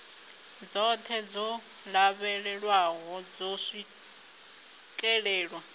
dzoṱhe dzo lavhelelwaho dzo swikelelwa